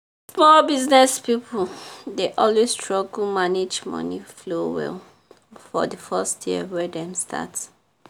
small business people dey always struggle manage money flow well for the first year wey dem start.